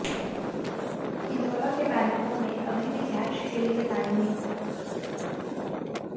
इंदौरा के बैंकों में अभी भी कैश के लिए लाइनें